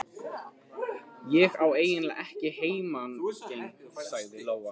Ég á eiginlega ekki heimangengt, sagði Lóa.